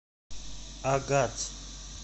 агат